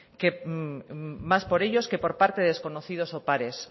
más por ellos que por parte de desconocidos o